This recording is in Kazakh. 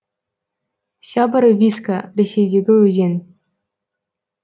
сябор виска ресейдегі өзен